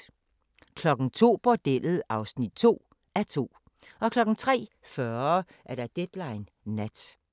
02:00: Bordellet (2:2) 03:40: Deadline Nat